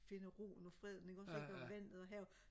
finder roen og freden ikke også ikke og vandet og havet